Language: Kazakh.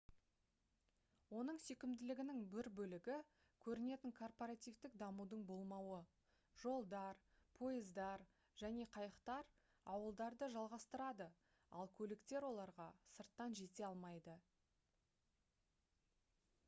оның сүйкімділігінің бір бөлігі көрінетін корпоративтік дамудың болмауы жолдар пойыздар және қайықтар ауылдарды жалғастырады ал көліктер оларға сырттан жете алмайды